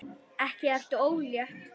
Ekki ertu ólétt?